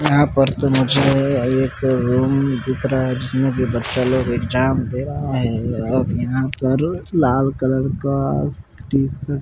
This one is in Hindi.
यहाँ पर तो मुझे एक रूम दिख रहा है जिसमें कि बच्चे लोग एग्जाम दे रहे है और यहाँ पर लाल कलर का टी-शर्ट --